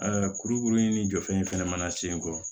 kurukurunin ni jɔfɛn fɛnɛ mana sen kɔ